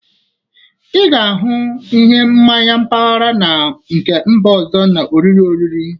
Ị ga-ahụ ihe mmanyi mpaghara na nke mba ọzọ na oriri oriri